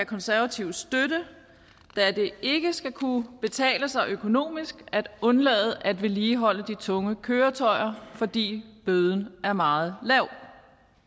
konservative støtte da det ikke skal kunne betale sig økonomisk at undlade at vedligeholde de tunge køretøjer fordi bøden er meget lav